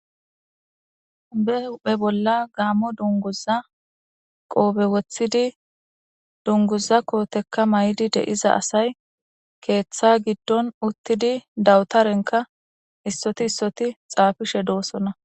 Be huphe bolla gaammo dunguza qoobe woththidi dunguza kootekka may'di deiza asay keeththa giddon uttidi dawutarenka issoti issoti xaafishe doosonna.